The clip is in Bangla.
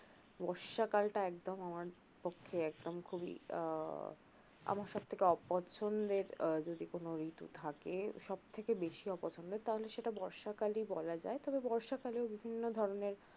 বর্ষাকাল টা একদম আমার পক্ষে একদম খুবই আহ আমার সব থেকে অপছন্দের আহ যদি কোনো ঋতু থাকে সবথেকে বেশি অপছন্দের তাহলে সেটা বর্ষাকালই বলা যায় তবে বর্ষা কালে বিভিন্ন ধরনের